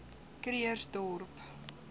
krugersdorp